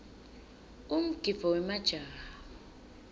umgidvo wemajaha